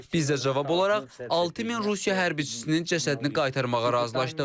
Biz də cavab olaraq 6000 Rusiya hərbçisinin cəsədini qaytarmağa razılaşdıq.